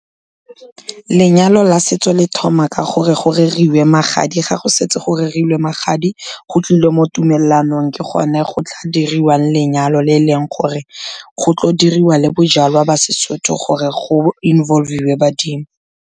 Lenyalo la setso le thoma ka gore go reriwe magadi, ga go setse go rerilwe magadi, go tlilwe mo tumalanong ke gone go tla diriwang lenyalo le e leng gore go tlo diriwa le bojalwa ba seSotho gore go involve-iwe badimo.